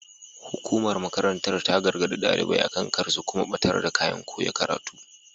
Hukumar makarantar ta gargaɗi ɗalibai akan kar su kuma ɓatar da kayan koya karatu.